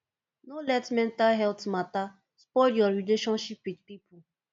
no let mental healt mata spoil your relationship with pipo